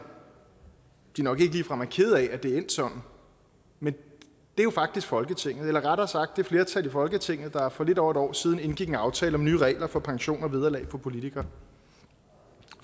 de nok ikke ligefrem er kede af at det er endt sådan men det er jo faktisk folketinget eller rettere sagt det flertal i folketinget der for lidt over et år siden indgik en aftale om nye regler for pension og vederlag for politikere